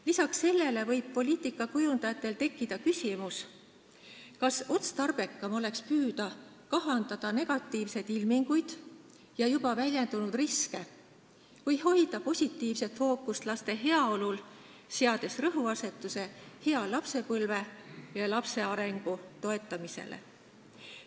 Lisaks sellele võib poliitika kujundajatel tekkida küsimus, kas otstarbekam oleks püüda kahandada negatiivseid ilminguid ja juba väljendunud riske või hoida positiivset fookust laste heaolul, seades rõhuasetuse hea lapsepõlve ja lapse arengu toetamisele.